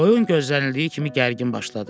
Oyun gözlənildiyi kimi gərgin başladı.